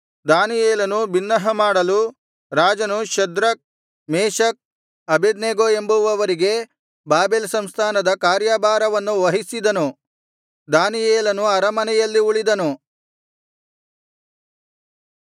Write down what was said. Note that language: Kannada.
ದಾನಿಯೇಲನು ಬಿನ್ನಹ ಮಾಡಲು ರಾಜನು ಶದ್ರಕ್ ಮೇಶಕ್ ಅಬೇದ್ನೆಗೋ ಎಂಬುವವರಿಗೆ ಬಾಬೆಲ್ ಸಂಸ್ಥಾನದ ಕಾರ್ಯಭಾರವನ್ನು ವಹಿಸಿದನು ದಾನಿಯೇಲನು ಅರಮನೆಯಲ್ಲಿ ಉಳಿದನು